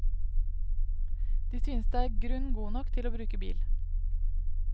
De synes det er grunn god nok til å bruke bil.